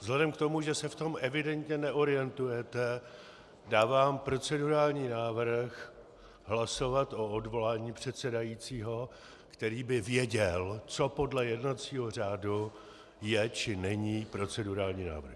Vzhledem k tomu, že se v tom evidentně neorientujete, dávám procedurální návrh hlasovat o odvolání předsedajícího, který by věděl, co podle jednacího řádu je, či není procedurální návrh.